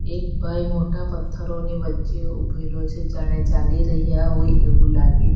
એક ભાઈ મોટા પથ્થરોની વચ્ચે ઊભેલો છે જાણે ચાલી રહ્યા હોય એવું લાગે છ--